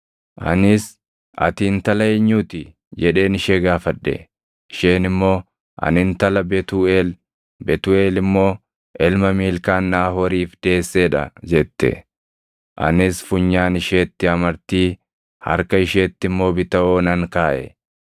“Anis, ‘Ati intala eenyuu ti?’ jedheen ishee gaafadhe. “Ishee immoo, ‘Ani intala Betuuʼeel; Betuuʼeel immoo ilma Miilkaan Naahooriif deessee dha’ jette. “Anis funyaan isheetti amartii, harka isheetti immoo bitawoo nan kaaʼe.